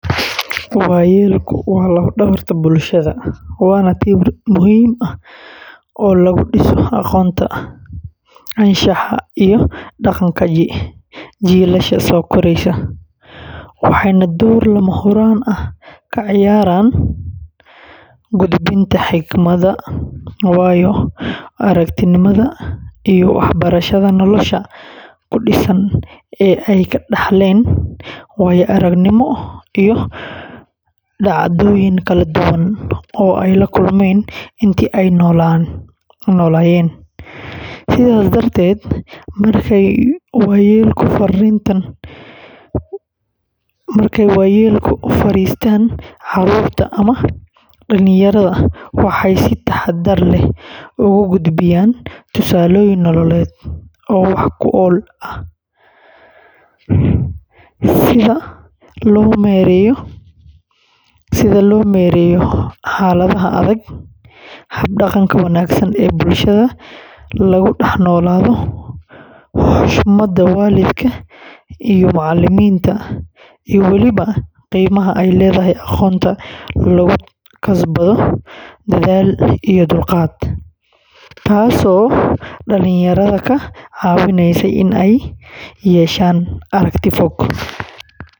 Waayeelku waa lafdhabarta bulshada, waana tiir muhiim ah oo lagu dhiso aqoonta, anshaxa, iyo dhaqanka jiilasha soo koreysa, waxayna door lama huraan ah ka ciyaaraan gudbinta xikmadda, waayo-aragnimada iyo waxbarashada nolosha ku dhisan ee ay ka dhaxleen waayo-aragnimo iyo dhacdooyin kala duwan oo ay la kulmeen intii ay noolaa; sidaas darteed, markay waayeelku fariistaan carruurta ama dhallinyarada, waxay si taxaddar leh ugu gudbiyaan tusaalooyin nololeed oo wax ku ool ah, sida sida loo maareeyo xaaladaha adag, hab-dhaqanka wanaagsan ee bulshada lagu dhex noolaado, xushmada waalidka iyo macallimiinta, iyo weliba qiimaha ay leedahay aqoonta lagu kasbado dadaal iyo dulqaad, taasoo dhalinyarada ka caawinaysa in ay yeeshaan aragti fog.